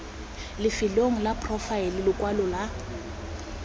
lefelong la poraefete lekwalo la